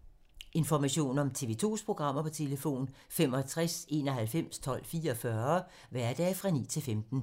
Information om TV 2's programmer: 65 91 12 44, hverdage 9-15.